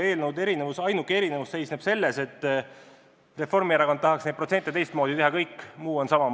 Eelnõude ainuke erinevus seisneb selles, et Reformierakond tahaks veidi teisi protsente, kõik muu on sama.